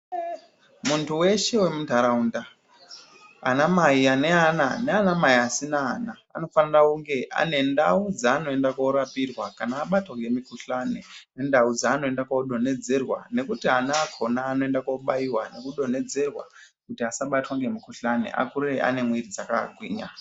Muntu weshe wemundaraunda, anamai aneana naanamai asina ana, anofanira kunge anendau dzaanoenda koorapirwa kana abatwa ngemikuhlani. Nendau dzaanoenda kuodonhedzerwa, nekuti ana akona anoenda kuobaiwa nekunodonhedzerwa kuti asabatwa ngemukuhlani, akure ane mwiiri dzakagwinya.